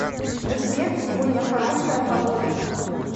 сбер сегодня хорошая погода